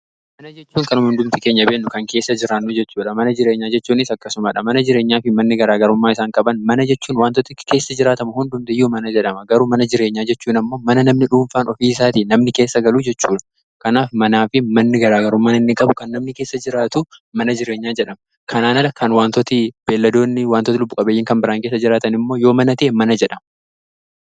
Mana jechuun kanama hundumti keenya beennu kan keessa jiraannuu jechuudha mana jireenyaa jechuunis akkasumaadha mana jireenyaa fi manni garaa garummaa isaan qaban mana jechuun wantootti keessa jiraatama hundumtiiyyuu mana jedhama garuu mana jireenyaa jechuun ammoo mana namni dhuunfaan ofii isaatii namni keessa galuu jechuudha kanaaf manaa fi manni garaa garuu mana inni qabu kan namni keessa jiraatu mana jireenyaa jedhama kanaana kan wantooti beelladoonni wantootin lubbu qabeyyin kan biraan keessa jiraatan immoo yoo mana jedhama.